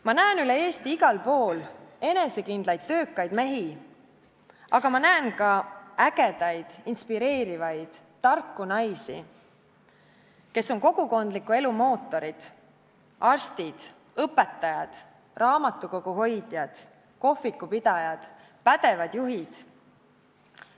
Ma näen üle Eesti igal pool enesekindlaid töökaid mehi, aga ma näen ka ägedaid, inspireerivaid, tarku naisi, kes on kogukondliku elu mootorid: arstid, õpetajad, raamatukoguhoidjad, kohvikupidajad, pädevad juhid.